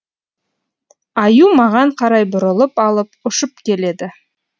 аю маған қарай бұрылып алып ұшып келеді